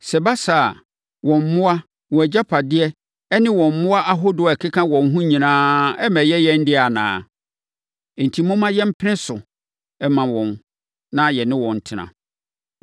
Sɛ ɛba saa a, wɔn mmoa, wɔn agyapadeɛ ne wɔn mmoa ahodoɔ a ɛkeka ho no nyinaa remmɛyɛ yɛn dea anaa? Enti, momma yɛmpene so mma wɔn, na yɛne wɔn ntena.”